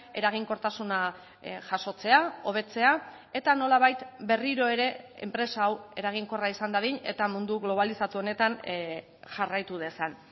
eraginkortasuna jasotzea hobetzea eta nolabait berriro ere enpresa hau eraginkorra izan dadin eta mundu globalizatu honetan jarraitu dezan